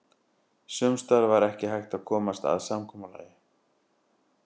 Sums staðar var ekki hægt að komast að samkomulagi.